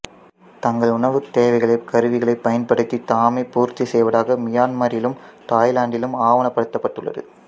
தங்கள் உணவுத்தேவைகளை கருவிகளைப் பயன்படுத்தி தாமே பூர்த்திசெய்வதாக மியான்மரிலும் தாய்லாந்திலும் ஆவணப்படுத்தப்பட்டுள்ளது